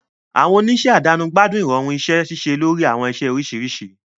Àwọn oníṣẹ́ àdáni gbádùn ìrọ̀rùn iṣẹ́ ṣíṣe lórí àwọn iṣẹ́ oríṣiríṣi.